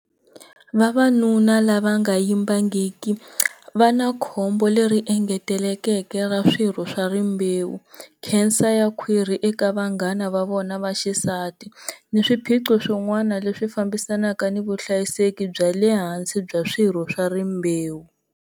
Vavanuna lava nga yimbangiki va na khombo leri engeteleleke ra swirho swa rimbewu, nkhensa ya khwiri eka vanghana va vona va xisati ni swiphiqo swin'wana leswi fambisanaka ni vuhlayiseki bya le hansi bya swirho swa rimbewu.